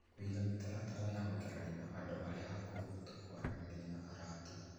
Kũiga mĩtaratara ya gũikarania na andũ arĩa akũrũ, ta kwaranĩria na arata